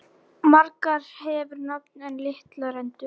Margur hefur nafn en litla rentu.